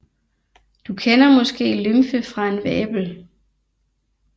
Du kender måske lymfe fra en vabel